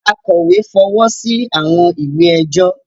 Akọ̀wé fọwọ́ sí àwọn ìwé ẹjọ́